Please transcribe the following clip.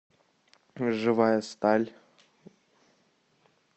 живая сталь